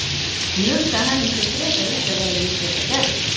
Ég hugsa að henni sé frekar illa við að ég sé með gest.